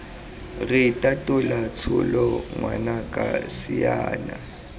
re itatola tsholo ngwanaka siana